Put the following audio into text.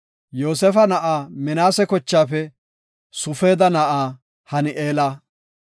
Yoosefa na7aa Minaase kochaafe Sufeeda na7aa Hani7eela;